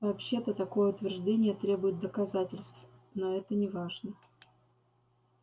вообще-то такое утверждение требует доказательств но это неважно